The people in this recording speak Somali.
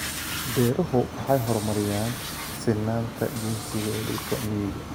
Beeruhu waxay horumariyaan sinnaanta jinsiga ee dhulka miyiga.